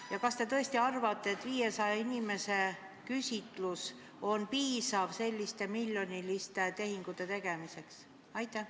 Ja kas te tõesti arvate, et 500 inimese küsitlusest piisab selliste miljoniliste otsuste tegemiseks?